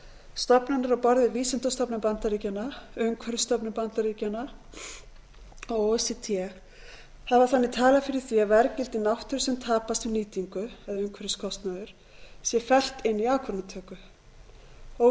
stofnanir á borð við vísindastofnun bandaríkjanna umhverfisstofnun bandaríkjanna og o e c d hafa þannig talað fyrir því að verðgildi náttúru sem tapast við nýtingu sé fellt inn í ákvarðanatöku o e